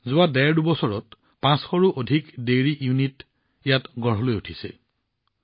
যোৱা ডেৰদুবছৰত ৫০০ৰো অধিক দুগ্ধ ইউনিট ইয়ালৈ উঠি আহিছে